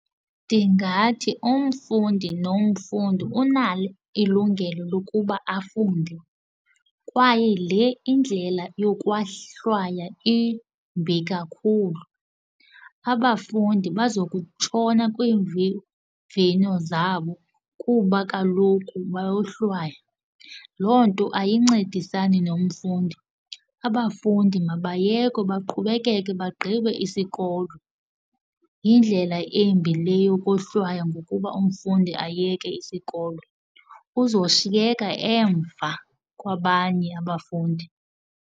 Ndingathi umfundi nomfundi unalo ilungelo lokuba afunde kwaye le indlela yokohlwaya imbi kakhulu. Abafundi bazokutshona kwiimviwo zabo kuba kaloku bayohlwaya. Loo nto ayincedisani nomfundi, abafundi mabayekwe baqhubekeke bagqibe isikolo, yindlela embi le yokohlwaya ngokuba umfundi ayeke isikolo. Uzoshiyeka emva kwabanye abafundi.